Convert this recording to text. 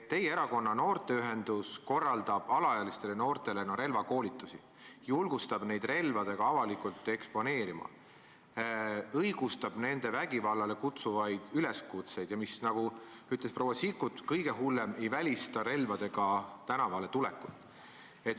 Teie erakonna noorteühendus korraldab alaealistele noortele relvakoolitusi, julgustab neid end koos relvadega avalikult eksponeerima, õigustab nende vägivallale kutsuvaid üleskutseid ja mis, nagu ütles proua Sikkut, kõige hullem: ei välista relvadega tänavale tulekut.